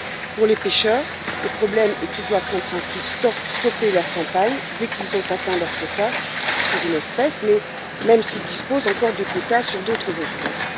Pour les pêcheurs, le problème est qu'ils doivent en principe stopper leur campagne dès qu'ils ont atteint leur quota sur une espèce même s'ils disposent encore de quotas sur d'autres espèces.